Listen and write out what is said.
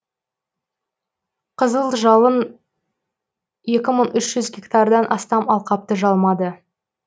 қызыл жалын екі мың үш жүз гектардан астам алқапты жалмады